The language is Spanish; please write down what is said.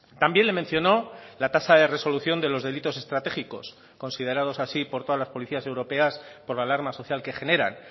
también le mencionó la tasa de resolución de los delitos estratégicos considerados así por todas las policías europeas por la alarma social que generan